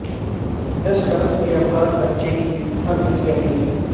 دس برس کے افغان بچے کی امن کی اپیل